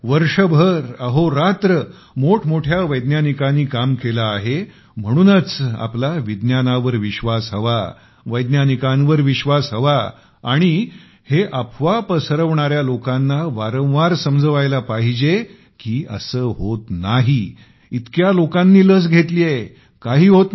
वर्षभर अहोरात्र मोठमोठ्या वैज्ञानिकांनी काम केलं आहेम्हणूनच आपला विज्ञानावर विश्वास हवावैज्ञानिकांवर विश्वास हवा आणि हे अफवा पसरवणाऱ्या लोकांना वारंवार समजवायला पाहिजे की असे होत नाही इतक्या लोकांनी लस घेतली आहे काही होत नाही